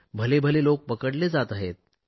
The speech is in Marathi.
भलेभले लोक पकडले जात आहेत